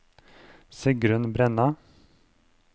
Sigrun Brenna